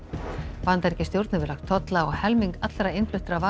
Bandaríkjastjórn hefur lagt tolla á helming allra innfluttra vara